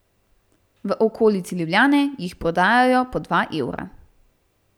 V okolici Ljubljane jih prodajajo po dva evra.